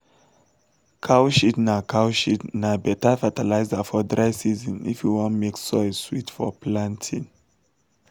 cow shit na cow shit na beta fertilizer for dry season if we wan make soil sweet for planting.